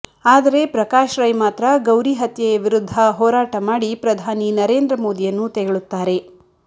ಆದರೆ ಪ್ರಕಾಶ್ ರೈ ಮಾತ್ರ ಗೌರಿ ಹತ್ಯೆಯ ವಿರುದ್ಧ ಹೋರಾಟ ಮಾಡಿ ಪ್ರಧಾನಿ ನರೇಂದ್ರ ಮೋದಿಯನ್ನು ತೆಗಳುತ್ತಾರೆ